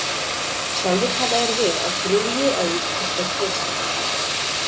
Sjálfir taka þeir við á þriðji öld eftir Krist.